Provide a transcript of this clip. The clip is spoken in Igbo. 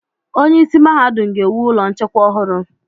Onyeisi Mahadum ga-ewu ụlọ nchekwa ọhụrụ.